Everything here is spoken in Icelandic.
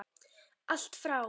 Allt frá